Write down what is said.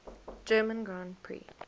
german grand prix